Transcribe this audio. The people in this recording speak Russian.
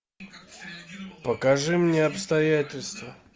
покажи мне обстоятельства